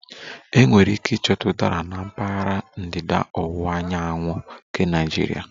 Enwere ike ịchọta Udara na mpaghara ndịda ọwụwa anyanwụ nke Nigeria